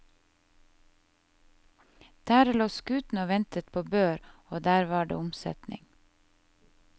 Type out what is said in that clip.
Der lå skutene og ventet på bør, og der var det omsetning.